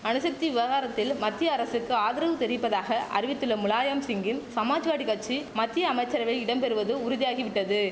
அணுசக்தி விவகாரத்தில் மத்திய அரசுக்கு ஆதரவு தெரிவிப்பதாக அறிவித்துள்ள முலாயம்சிங்கின் சமாஜ்வாடி கச்சி மத்திய அமைச்சரவை இடம் பெறுவது உறுதியாகி விட்டது